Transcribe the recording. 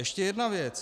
Ještě jedna věc.